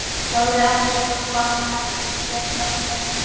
Ég sagði ekkert og fann ekkert sérstakt heldur.